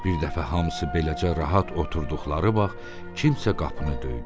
Bir dəfə hamısı beləcə rahat oturduqları vaxt kimsə qapını döydü.